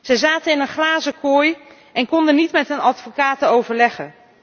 Ze zaten in een glazen kooi en konden niet met hun advocaten overleggen.